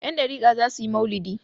Yandariƙa za su yi mau'lidi.